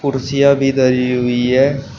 कुर्सियां भी धरी हुई है।